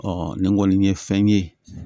nin kɔni ye fɛn ye